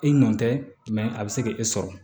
E nɔ tɛ a bɛ se k'e sɔrɔ